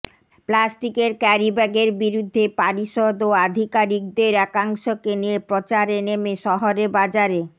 প্লাস্টিকের ক্যারিব্যাগের বিরুদ্ধে পারিষদ ও আধিকারিকদের একাংশকে নিয়ে প্রচারে নেমে শহরে বাজারে